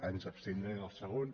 ens abstindrem al segon